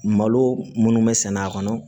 Malo minnu bɛ sɛnɛ a kɔnɔ